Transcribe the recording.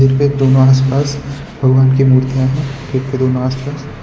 दोनों आस पास भगवान की मूर्तियां हैं